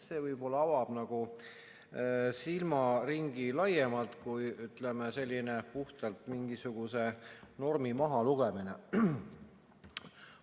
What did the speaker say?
See võib-olla avab silmaringi laiemalt kui, ütleme, selline puhtalt mingisuguse normi mahalugemine.